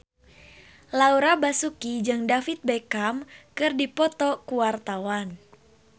Laura Basuki jeung David Beckham keur dipoto ku wartawan